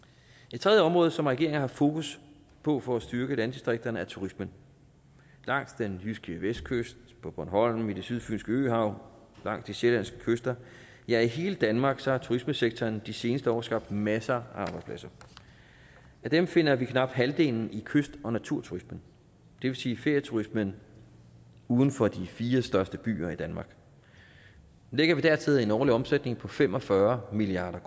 et tredje område som regeringen har fokus på for at styrke landdistrikterne er turismen langs den jyske vestkyst på bornholm i det sydfynske øhav langs de sjællandske kyster ja i hele danmark har turismesektoren de seneste år skabt masser af arbejdspladser af dem finder vi knap halvdelen i kyst og naturturismen det vil sige ferieturismen uden for de fire største byer i danmark lægger vi dertil en årlig omsætning på fem og fyrre milliard